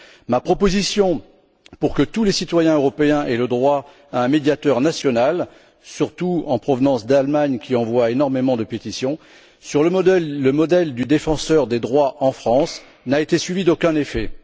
Ma proposition pour que tous les citoyens européens aient le droit à un médiateur national, surtout en provenance d'Allemagne qui envoie énormément de pétitions sur le modèle du défenseur des droits en France, n'a été suivie d'aucun effet.